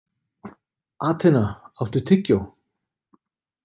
Atena, áttu tyggjó?